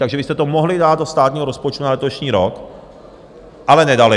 Takže vy jste to mohli dát do státního rozpočtu na letošní rok, ale nedali.